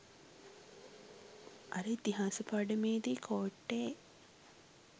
අර ඉතිහාස පාඩමේදී කෝට්ටේ